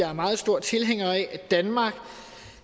er meget stor tilhænger af at danmark